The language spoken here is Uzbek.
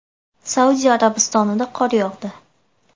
Saudiya Arabistonida qor yog‘di .